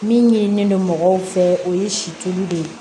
Min ɲinini don mɔgɔw fɛ o ye situlu de ye